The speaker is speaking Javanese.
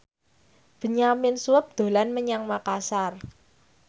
Benyamin Sueb dolan menyang Makasar